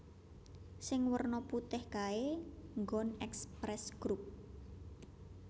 Sing werna putih kae nggon Express Group